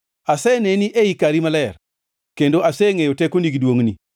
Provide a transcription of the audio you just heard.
Aseneni ei kari maler kendo asengʼeyo tekoni gi duongʼni.